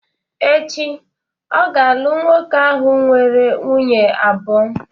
Echi, ọ ga-alụ nwoke ahụ nwere nwunye abụọ